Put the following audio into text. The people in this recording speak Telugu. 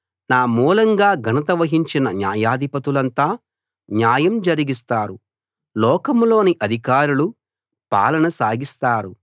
నా మూలంగా ఘనత వహించిన న్యాయాధిపతులంతా న్యాయం జరిగిస్తారు లోకంలోని అధికారులు పాలన సాగిస్తారు